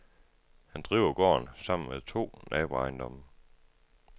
Han driver gården sammen med to naboejendomme.